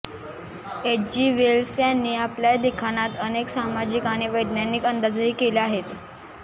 Hg Wells यांनी आपल्या लिखाणात अनेक सामाजिक आणि वैज्ञानिक अंदाजही केले आहेत